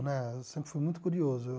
Né eu sempre fui muito curioso.